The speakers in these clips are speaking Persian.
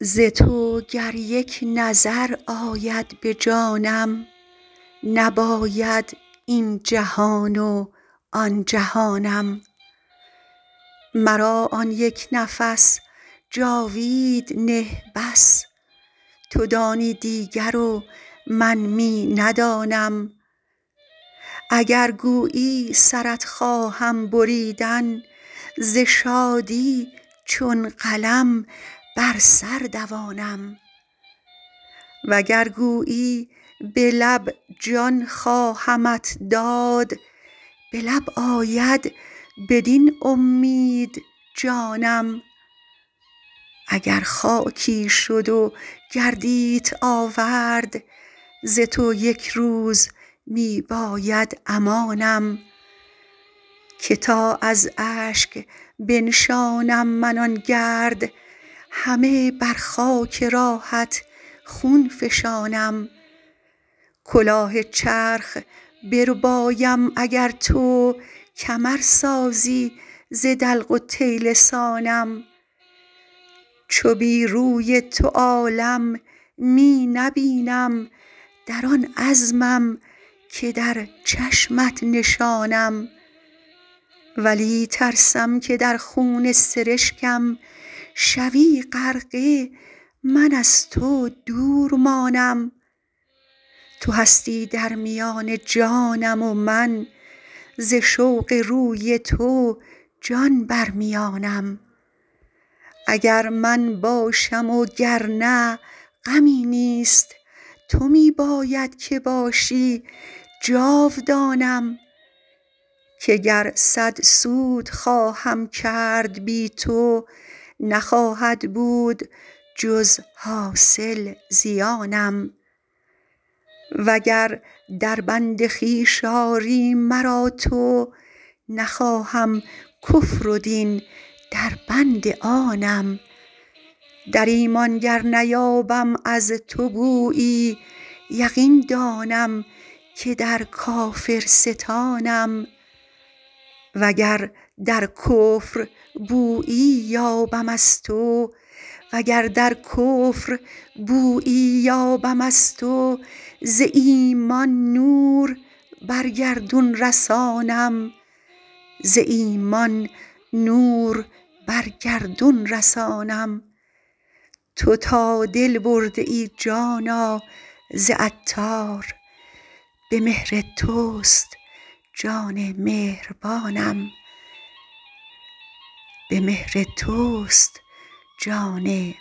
ز تو گر یک نظر آید به جانم نباید این جهان و آن جهانم مرا آن یک نفس جاوید نه بس تو دانی دیگر و من می ندانم اگر گویی سرت خواهم بریدن ز شادی چون قلم بر سر دوانم وگر گویی به لب جان خواهمت داد به لب آید بدین امید جانم اگر خاکی شد و گردیت آورد ز تو یک روز می باید امانم که تا از اشک بنشانم من آن گرد همه بر خاک راهت خون فشانم کلاه چرخ بربایم اگر تو کمر سازی ز دلق و طیلسانم چو بی روی تو عالم می نبینم در آن عزمم که در چشمت نشانم ولی ترسم که در خون سرشکم شوی غرقه من از تو دور مانم تو هستی در میان جانم و من ز شوق روی تو جان بر میانم اگر من باشم و گرنه غمی نیست تو می باید که باشی جاودانم که گر صد سود خواهم کرد بی تو نخواهد بود جز حاصل زیانم و گر در بند خویش آری مرا تو نخواهم کفر و دین در بند آنم در ایمان گر نیابم از تو بویی یقین دانم که در کافرستانم وگر در کفر بویی یابم از تو ز ایمان نور بر گردون رسانم تو تا دل برده ای جانا ز عطار به مهر توست جان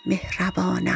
مهربانم